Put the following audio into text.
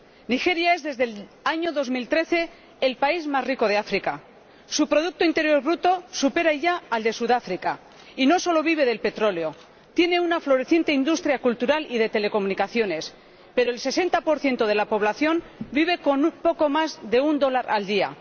Nigeria es, desde el año 2013, el país más rico de África —su producto interior bruto supera ya al de Sudáfrica— y no solo vive del petróleo tiene una floreciente industria cultural y de telecomunicaciones, pero el 60 de la población vive con poco más de un dólar al día.